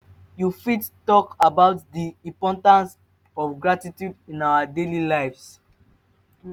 you fit talk about di importance of gratitude in our daily lives?